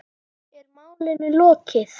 Er málinu lokið?